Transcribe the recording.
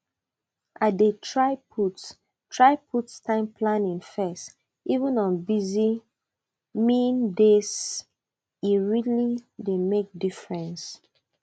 i dey try put try put time planning first even on busyi meandayse really dey make difference